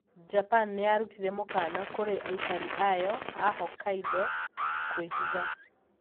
Japan niyarutire mũkana kũri aikari ayo a Hokkaido kũihitha.